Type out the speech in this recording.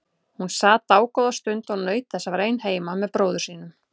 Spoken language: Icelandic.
Hún sat dágóða stund og naut þess að vera ein heima með bróður sínum.